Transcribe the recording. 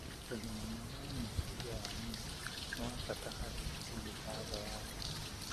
Ũgima mwega wa meciria wa nyina nĩ wa bata harĩ ũgima wothe wa nda.